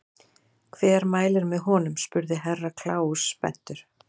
Hver mælir með honum spurði Herra Kláus spenntur.